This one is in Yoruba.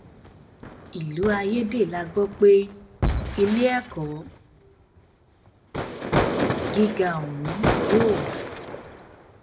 ìlú ayédè la gbọ pé iléẹkọ gíga ọhún yóò wà